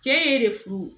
Cɛ ye e de furu